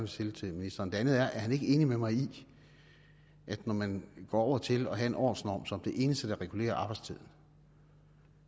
stille til ministeren det andet er er ministeren ikke enig med mig i at når man går over til at have en årsnorm som det eneste der regulerer arbejdstiden